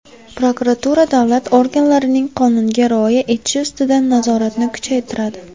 Prokuratura davlat organlarining qonunga rioya etishi ustidan nazoratni kuchaytiradi.